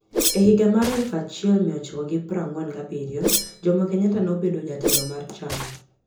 E higa mar 1947, Jomo Kenyatta nobedo jatelo mar chama.